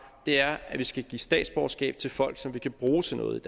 det er at vi skal give statsborgerskab til folk som vi kan bruge til noget